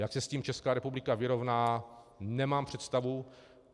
Jak se s tím Česká republika vyrovná, nemám představu.